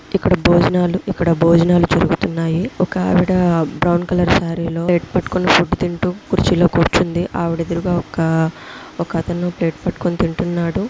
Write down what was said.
భోజనాలుతున్నాయి. ఒక ఆవిడ off colour sari లో పెట్టుకొని తింటూ కుర్చీలో కూర్చుంది. ఆవిడ ఒక ఒకతను పెట్టుకుంటున్నాడు. చాలా మంది ఒకావిడ పాప ఒక బాబుని ఎత్తుకొని నిలబడి ఉంది.